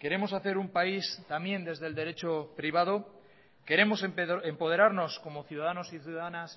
queremos hacer un país también desde el derecho privado queremos empoderarnos como ciudadanos y ciudadanas